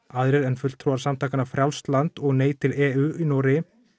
aðrir en fulltrúar samtakanna frjálst land og nei til e u í Noregi